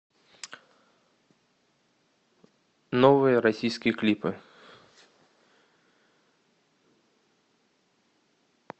новые российские клипы